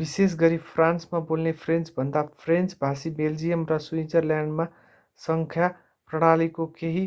विशेष गरी फ्रान्समा बोल्ने फ्रेन्चभन्दा फ्रेन्च भाषी बेल्जियम र स्विजरल्याण्डमा संख्या प्रणालीको केही